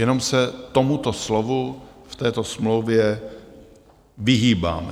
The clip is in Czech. Jenom se tomuto slovu v této smlouvě vyhýbáme.